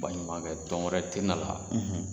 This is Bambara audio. Baɲumankɛ tɔn wɛrɛ tɛ na la